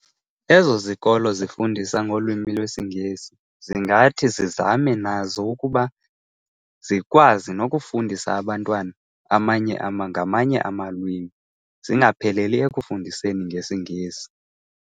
Ezo zikolo zifundisa ngolwimi lwesiNgesi zingathi zizame nazo ukuba zikwazi nokufundisa abantwana amanye ngamanye amalwimi, zingapheleli ekufundiseni ngesiNgesi.